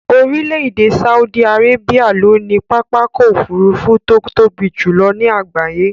Orílè èdè Saudi Arabia ló ní pápákò òfurufú to tóbi jùlo ní àgbáyé